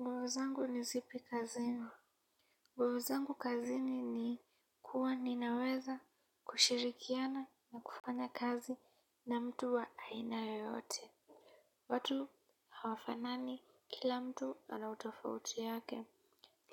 Nguvu zangu ni zipi kazini. Nguvu zangu kazini ni kuwa ninaweza kushirikiana na kufanya kazi na mtu wa aina yoyote. Watu hawafanani kila mtu ana utofauti yake.